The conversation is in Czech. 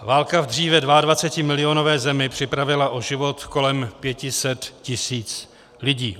Válka v dříve 22milionové zemi připravila o život kolem 500 tisíc lidí.